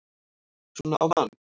SVONA Á MANN!